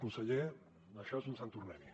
conseller això és un sant tornem hi